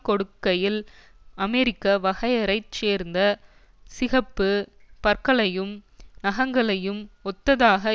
கொடுக்கையில் அமெரிக்க வகையறை சேர்ந்த சிகப்பு பற்களையும் நகங்களையும் ஒத்ததாக